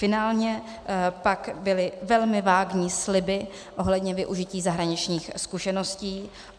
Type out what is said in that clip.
Finálně pak byly velmi vágní sliby ohledně využití zahraničních zkušeností.